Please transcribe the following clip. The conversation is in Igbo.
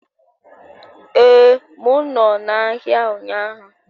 Ee, m nọ n'ahịa ụnyaahụ